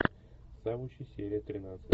завучи серия тринадцать